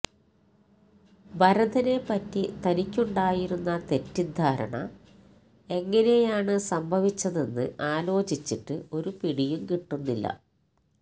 ഭരതനെപ്പറ്റി തനിക്കുണ്ടായിരുന്ന തെറ്റിദ്ധാരണ എങ്ങനെയാണ് സംഭവിച്ചതെന്ന് ആലോചിച്ചിട്ട് ഒരു പിടിയും കിട്ടുന്നില്ല